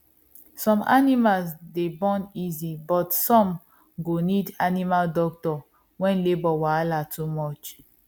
some animals dey born easy but some go need animal doctor when labour wahala too much